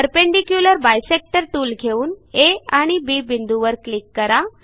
perpendicular bisector tool घेऊन A आणि B बिंदूवर क्लिक करा